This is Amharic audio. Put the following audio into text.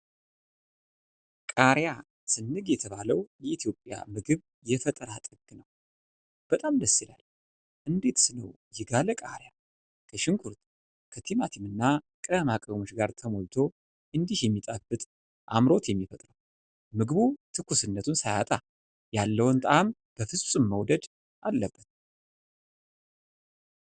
ቃሪያ ስንቅ የተባለው የኢትዮጵያ ምግብ የፈጠራ ጥግ ነው! በጣም ደስ ይላል! እንዴትስ ነው የጋለ ቃሪያ ከሽንኩርት፣ ከቲማቲም እና ቅመማ ቅመም ጋር ተሞልቶ እንዲህ የሚጣፍጥ አምሮት የሚፈጥረው? ምግቡ ትኩስነቱን ሳያጣ ያለውን ጣዕም በፍፁም መወደድ አለበት።